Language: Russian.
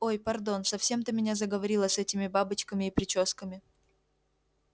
ой пардон совсем ты меня заговорила с этими бабочками и причёсками